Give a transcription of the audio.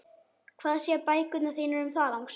Hvað segja bækurnar þínar um það, lagsi?